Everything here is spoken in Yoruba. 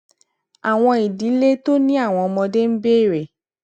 àwọn ìdílé tó ní àwọn ọmọdé ń béèrè